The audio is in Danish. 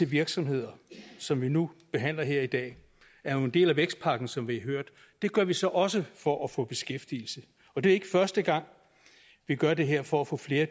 virksomhederne som vi nu behandler her i dag er jo en del af vækstpakken som vi har hørt det gør vi så også for at få beskæftigelse og det er ikke første gang vi gør det her for at få flere